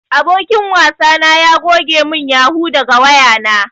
Abokin wasa na ya goge mun yahoo daga wayana.